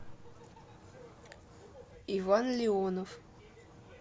иван леонов